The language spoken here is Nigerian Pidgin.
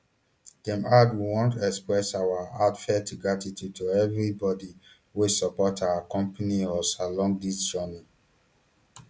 dem add we want express our heartfelt gratitude to everybody wey support and accompany us along dis journey